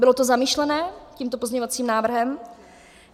Bylo to zamýšleno tímto pozměňovacím návrhem?